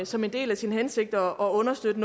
som en del af sin hensigt at understøtte